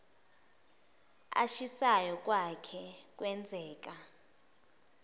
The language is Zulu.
ashisayo kwake kwenzeka